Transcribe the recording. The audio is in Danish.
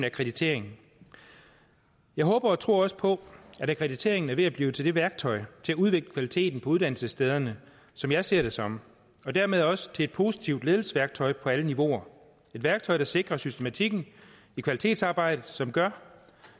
akkreditering jeg håber og tror også på at akkrediteringen er ved at blive til det værktøj til at udvikle kvaliteten på uddannelsesstederne som jeg ser det som og dermed også til et positivt ledelsesværktøj på alle niveauer et værktøj der sikrer systematikken i kvalitetsarbejdet som gør